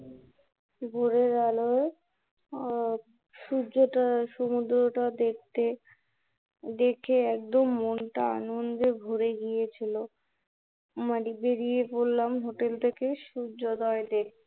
ভোরের আলোয় আহ সূর্যটা, সমুদ্রটা দেখতে দেখে মনটা একদম আনন্দে ভরে গেছিলো, মানে বেড়িয়ে পড়লাম Hotel থেকে সূর্যদয় দেখতে